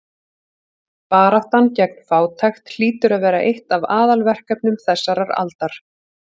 Baráttan gegn fátækt hlýtur að vera eitt af aðalverkefnum þessarar aldar.